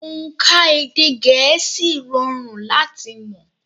Ònkà èdè gẹ̀ẹ́sì rọrùn láti mọ̀